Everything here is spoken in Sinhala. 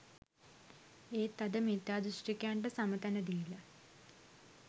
එත් අද මිත්‍යා දෘෂ්ටිකයින්ට සම තැන දීල